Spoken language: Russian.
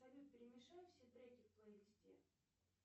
салют перемешай все треки в плейлисте